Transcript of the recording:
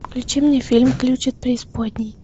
включи мне фильм ключ от преисподней